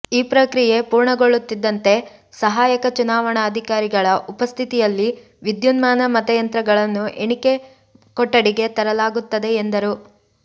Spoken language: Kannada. ಈ ಪ್ರಕ್ರಿಯೆ ಪೂರ್ಣಗೊಳ್ಳುತ್ತಿದ್ದಂತೆ ಸಹಾ ಯಕ ಚುನಾವಣಾಧಿಕಾರಿಗಳ ಉಪಸ್ಥಿತಿ ಯಲ್ಲಿ ವಿದ್ಯುನ್ಮಾನ ಮತಯಂತ್ರಗಳನ್ನು ಎಣಿಕಾ ಕೊಠಡಿಗೆ ತರಲಾಗುತ್ತದೆ ಎಂದರು